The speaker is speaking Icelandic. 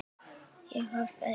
Ég hoppaði upp.